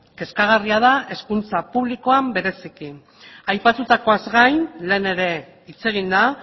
kezkagarria da hezkuntza publikoan bereziki aipatutakoaz gain lehen ere hitz egin da